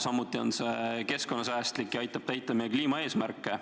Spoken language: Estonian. Samuti on see keskkonnasäästlik ja aitab täita meie kliimaeesmärke.